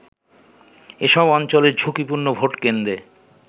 এসব অঞ্চলের ঝুঁকিপূর্ণ ভোটকেন্দ্রে